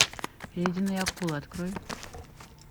ледяные акулы открой